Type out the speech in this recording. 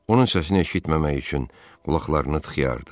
Onun səsini eşitməmək üçün qulaqlarını tıxıyırdı.